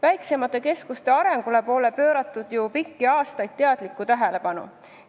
Väiksemate keskuste arengule pole ju pikki aastaid teadlikku tähelepanu pööratud.